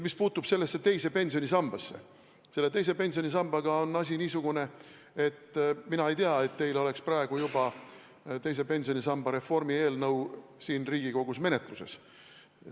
Mis puutub teise pensionisambasse, siis selle sambaga on asjad nii, et mina ei tea, et teise pensionisamba reformi eelnõu oleks siin Riigikogus menetluses.